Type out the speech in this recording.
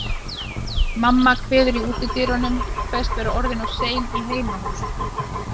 Mamma kveður í útidyrunum, kveðst vera orðin of sein í heimahús.